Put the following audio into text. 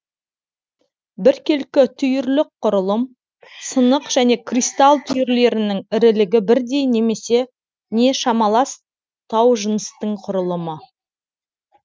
біркелкі түйірлік құрылым сынық және кристалл түйірлерінің ірілігі бірдей не шамалас таужыныстың құрылымы